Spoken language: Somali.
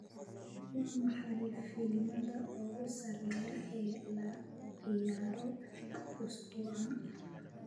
waa maxay filimada ugu sareeya ee la ciyaarayo usbuucan